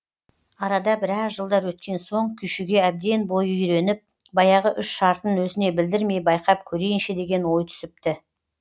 арада біраз жылдар өткен соң күйшіге әбден бойы үйреніп баяғы үш шартын өзіне білдірмей байқап көрейінші деген ой түсіпті